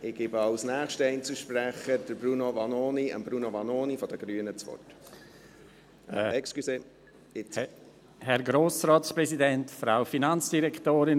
Als nächstem Einzelsprecher gebe ich das Wort Bruno Vanoni von den Grünen.